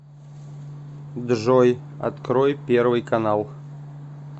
джой открой первый канал